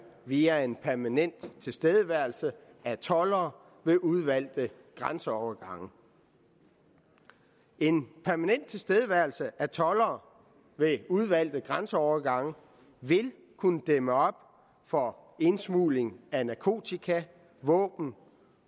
via en permanent tilstedeværelse af toldere ved udvalgte grænseovergange en permanent tilstedeværelse af toldere ved udvalgte grænseovergange vil kunne dæmme op for indsmugling af narkotika våben